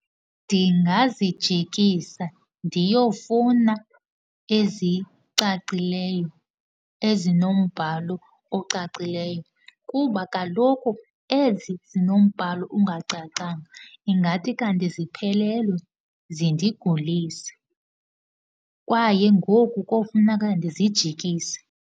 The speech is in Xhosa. Ndingazijikisa ndiyofuna ezicacileyo, ezinombhalo ocacileyo kuba kaloku ezi zinombhalo ungacacanga, ingathi kanti ziphelelwe, zindigulise. Kwaye ngoku kofuneka ndizijikise.